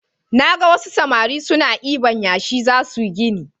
Naga wasu samari na diban yashi zasuyi gini